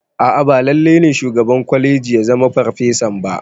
A'a ba lalle ne shugaban kwalegi ya zama ferfasa ba